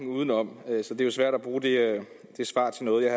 udenom så det er svært at bruge det svar til noget